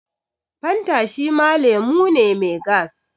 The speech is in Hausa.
Fanta shima lemu ne mai gas